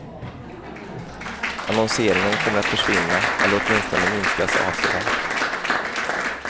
Annonseringen kommer att försvinna, eller åtminstone minskas avservärt.